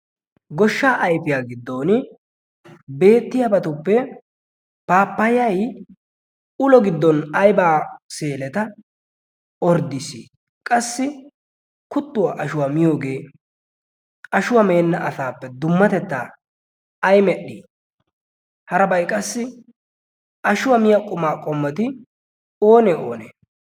goshshaa ayfiyaa giddon beettiyaabatuppe paapayay ulo giddon aybaa seeleta orddiis qassi kuttuwaa ashuwaa miyoogee ashuwaa meenna asaappe dummatettaa ai medhdhii harabay qassi ashuwaa miya qumaa qommeti oonee oonee?